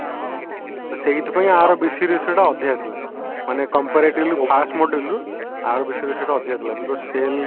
ତ ସେଇଥିପାଇଁ ଆର ଟା ଅଧିକା ଥିଲା ମାନେ comparatively ବି first moduleରୁ ଆର ଅଧିକା ଥିଲା because cell